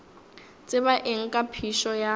tseba eng ka phišo ya